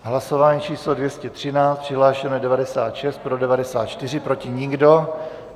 Hlasování číslo 213, přihlášeno je 96, pro 94, proti nikdo.